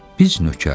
biz nökər.